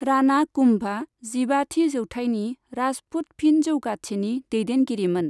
राना कुम्भआ जिबाथि जौथाइनि राजपुत फिनजौगाथिनि दैदेनगिरिमोन।